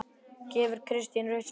Gefur Kristinn rautt spjald?